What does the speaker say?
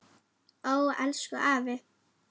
Ó elsku afi.